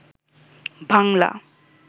Bangla